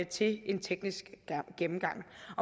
til en teknisk gennemgang